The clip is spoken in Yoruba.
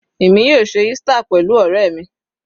Èmi yóò ṣe Easter pẹ̀lú ọ̀rẹ́ mi.